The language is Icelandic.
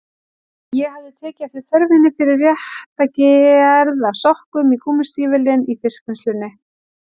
Ég hafði tekið eftir þörfinni fyrir rétta gerð af sokkum í gúmmístígvélin í fiskvinnslunni.